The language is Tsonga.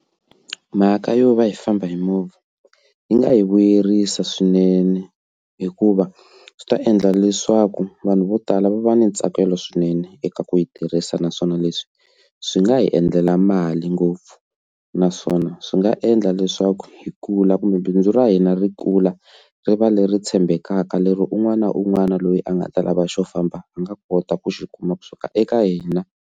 Mhaka yo va hi famba hi movha yi nga yi vuyerisa swinene hikuva swi ta endla leswaku vanhu vo tala va va ni ntsakelo swinene eka ku yi tirhisa naswona leswi swi nga hi endlela mali ngopfu naswona swi nga endla leswaku hi kula kumbe bindzu ra hina ri kula ri va leri tshembekaka lero un'wana na un'wana loyi a nga ta lava xo famba a nga kota ku xi kuma kusuka eka hina.